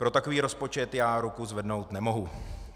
Pro takový rozpočet já ruku zvednout nemohu.